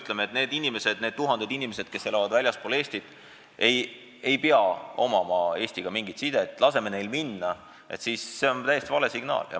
Kui me ütleme, et need tuhanded inimesed, kes elavad väljaspool Eestit, ei pea omama Eestiga mingit sidet ja et me laseme neil minna, siis see on täiesti vale signaal.